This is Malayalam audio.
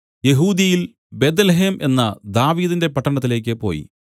യെഹൂദ്യയിൽ ബേത്ത്ലേഹെം എന്ന ദാവീദിന്റെ പട്ടണത്തിലേക്ക് പോയി